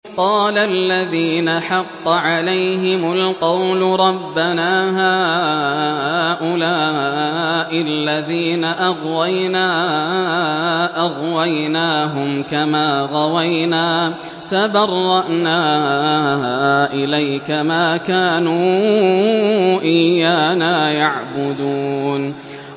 قَالَ الَّذِينَ حَقَّ عَلَيْهِمُ الْقَوْلُ رَبَّنَا هَٰؤُلَاءِ الَّذِينَ أَغْوَيْنَا أَغْوَيْنَاهُمْ كَمَا غَوَيْنَا ۖ تَبَرَّأْنَا إِلَيْكَ ۖ مَا كَانُوا إِيَّانَا يَعْبُدُونَ